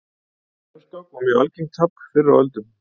refskák var mjög algengt tafl fyrr á öldum